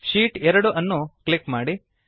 sheet 2 ಅನ್ನು click ಮಾಡಿ